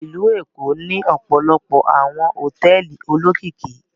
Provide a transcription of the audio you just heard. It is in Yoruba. Ìlú Èkó ní ọpọlọpọ awọn hotẹẹli olokiki